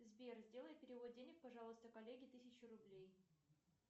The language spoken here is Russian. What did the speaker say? сбер сделай перевод денег пожалуйста коллеге тысячу рублей